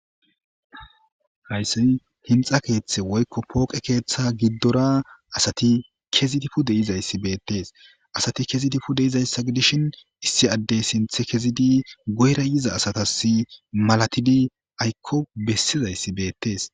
hayssi hinxa keeththe woykko pooqe keeththa giddora asati kezidi pu deyizayssi beettees asati kezidi pu de izayssa gi dishin issi addey sinthe kezidi goyra yiza asatas malatidi aykko bessizayssi beettees